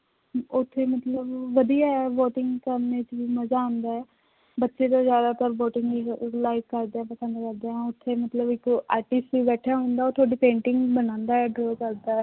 ਉੱਥੇ ਮਤਲਬ ਵਧੀਆ ਹੈ boating ਕਰਨੀ ਚ ਵੀ ਮਜ਼ਾ ਆਉਂਦਾ ਹੈ, ਬੱਚੇੇ ਜੋ ਜ਼ਿਆਦਾਤਰ boating ਨੀ ਅਹ like ਕਰਦੇ ਪਸੰਦ ਕਰਦੇ ਹੈ, ਉੱਥੇ ਮਤਲਬ ਇੱਕ artist ਵੀ ਬੈਠਾ ਹੁੰਦਾ ਉਹ ਤੁਹਾਡੀ painting ਬਣਾਉਂਦਾ ਹੈ draw ਕਰਦਾ ਹੈ